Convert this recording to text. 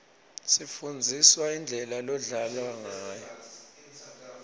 sifundziswa indlela lodlalwa ngayo